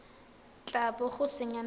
tla bo o senya nako